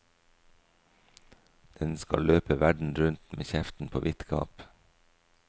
Den skal løpe verden rundt med kjeften på vidt gap.